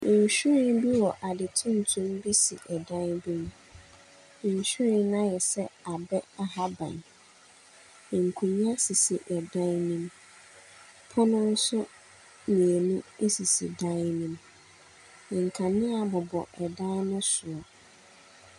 Nhwiren bi wɔ ade tuntum bi si dan bi mu. Nhwiren no ayɛ sɛ abɛ ahaban. Nkonnwa sisi dan no mu. Pono nso mmienu sisi dan no mu. Nkanea bobɔ dan no soro.